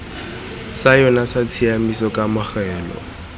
sa yona sa tshiamiso kamogelo